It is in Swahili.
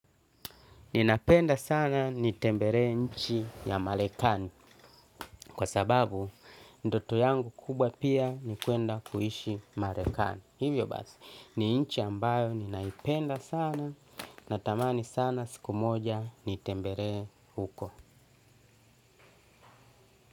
Ninapenda sana nitemberee nchi ya marekani kwa sababu ndoto yangu kubwa pia ni kuenda kuishi marekani. Hivyo basi, ni nchi ambayo ninaipenda sana natamani sana siku moja nitemberee huko.